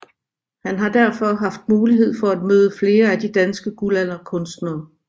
Han har derfor haft mulighed for at møde flere af de danske guldalderkunstnere